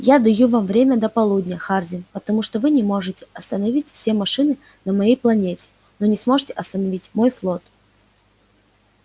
я даю вам время до полудня хардин потому что вы можете остановить все машины на моей планете но не сможете остановить мой флот